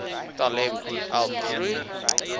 talent help groei